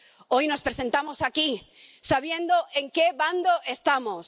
Hoy nos presentamos aquí sabiendo en qué bando estamos.